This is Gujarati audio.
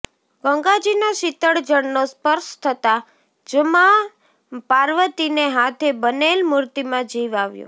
ગંગાજીના શીતળ જળનો સ્પર્શ થતાં જ મા પાર્વતીને હાથે બનેલ મૂર્તિમાં જીવ આવ્યો